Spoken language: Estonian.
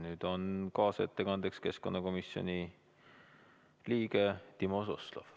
Nüüd saab sõna kaasettekandeks keskkonnakomisjoni liige Timo Suslov.